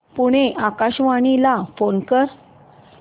पुणे आकाशवाणीला फोन कर